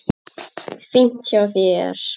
Fínt hjá þér.